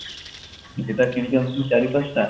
ସେଟା କିଣିକି ଆଣିଥିଲି ଚାରି ପାଞ୍ଚଟା